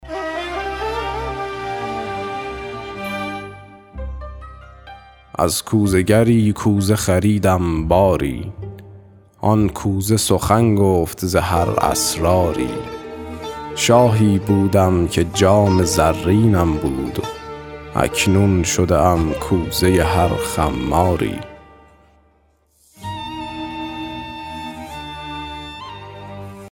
از کوزه گری کوزه خریدم باری آن کوزه سخن گفت ز هر اسراری شاهی بودم که جام زرینم بود اکنون شده ام کوزه هر خماری